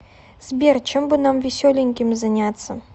сбер чем бы нам веселеньким заняться